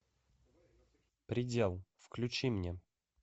предел включи мне